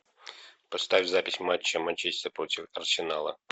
поставь запись матча манчестер против арсенала